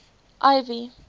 ivy